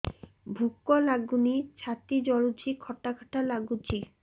ଭୁକ ଲାଗୁନି ଛାତି ଜଳୁଛି ଖଟା ଖଟା ଲାଗୁଛି